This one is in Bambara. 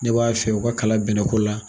Ne b'a fɛ u ka kalan bɛnɛ ko la.